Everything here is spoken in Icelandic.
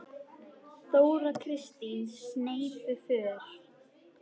Þóra Kristín: Sneypuför?